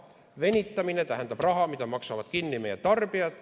Venitamine tähendab raha, mida maksavad kinni meie tarbijad.